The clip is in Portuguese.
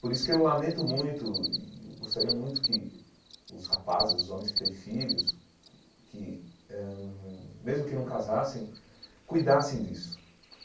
Por isso que eu lamento muito e gostaria muito que os rapazes, os homens que têm filhos, que eh mesmo que não casassem, cuidassem disso.